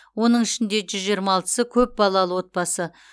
оның ішінде жүз жиырма алтысы көп балалы отбасы